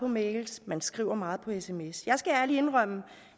mails man skriver meget via sms jeg skal ærligt indrømme